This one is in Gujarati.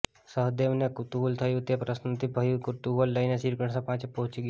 સહદેવને કુતુહલ થયું તે પ્રશ્નોથી ભર્યું કુતુહલ લઈને શ્રીકૃષ્ણ પાસે પહોંચી ગયો